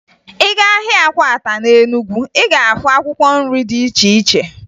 Ị gaa ahịa akwata na Enugu, ị ga-ahụ akwkwọ nri dị iche iche